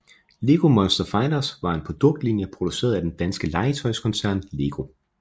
Lego Monster Fighters var en produktlinje produceret af den danske legetøjskoncern LEGO